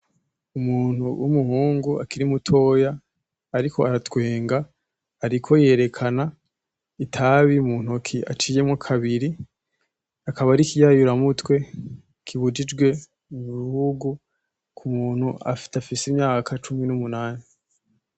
Umuntu w'umuhungu akiri mutoya ariko aratwenga, ariko yerekana itabi muntoki aciyemo kabiri, akaba arikiyayira mutwe kibujijwe mu bihugu ku muntu adafise imyaka cumi n'umunani.